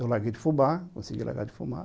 Eu larguei de fumar, consegui largar de fumar.